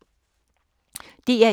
DR1